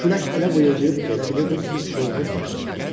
Külək elə vıyıldayırdı ki, elə bilirdin çovğun başlayıb.